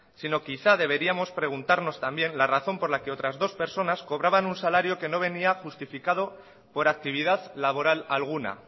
sino quizás deberíamos preguntarnos también la razón por la que otras dos personas cobraban un salario que no venía justificado por actividad laboral alguna